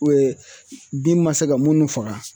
bin ma se ka minnu faga